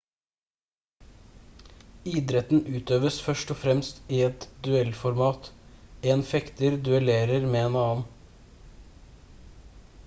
idretten utøves først og fremst i et duellformat en fekter duellerer med en annen